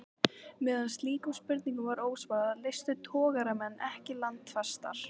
Meðan slíkum spurningum var ósvarað, leystu togaramenn ekki landfestar.